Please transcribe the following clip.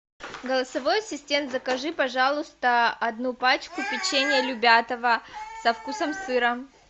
голосовой ассистент закажи пожалуйста одну пачку печенья любятово со вкусом сыра